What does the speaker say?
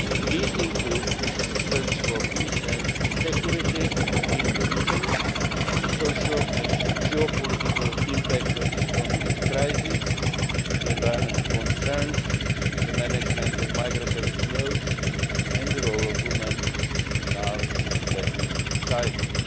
These include the search for peace and security in the region, the social and geopolitical impact of the economic crisis, environmental concerns, the management of migratory flows, and the role of women in our respective societies.